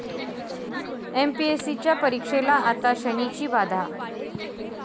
एमपीएससीच्या परीक्षेला आता 'शनी'ची बाधा